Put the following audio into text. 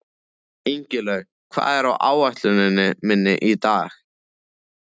Ingilaug, hvað er á áætluninni minni í dag?